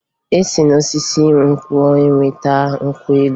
E si n'osisi nkwụ enweta nkwụ elu